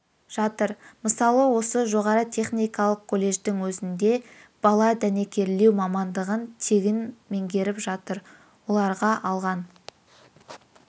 жатыр мысалы осы жоғары техникалық колледждің өзінде бала дәнекерлеу мамандығын тегін меңгеріп жатыр оларға алған